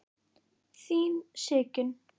Þín Sigyn.